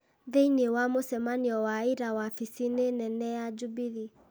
Thĩinĩ wa mũcemanio wa ira wabici-inĩ nene ya Jubilee,